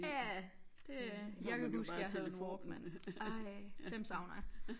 Ja det jeg kan huske jeg havde en walkman ej dem savner jeg